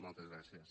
moltes gràcies